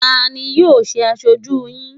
Ta ni yóò ṣe aṣojú yín?